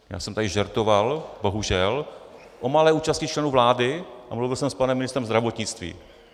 Já jsem tady žertoval, bohužel, o malé účasti členů vlády a mluvil jsem s panem ministrem zdravotnictví.